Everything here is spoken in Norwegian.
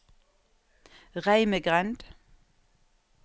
Reimegrend